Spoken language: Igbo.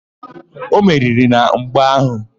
O meriri na mgba áhụ̀?